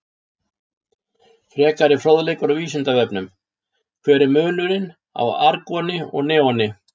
Frekari fróðleikur á Vísindavefnum: Hver er munurinn á argoni og neoni?